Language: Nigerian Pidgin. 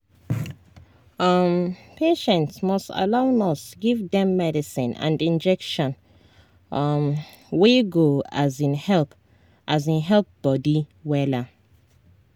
um patients must allow nurse give dem medicine and injection um wey go um help um help body wella.